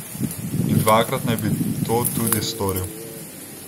In dvakrat naj bi to tudi storil.